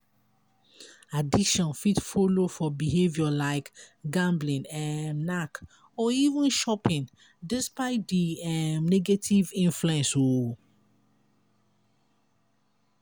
addiction fit follow for behaviour like gambling um knack or even shopping despite di um negative influence um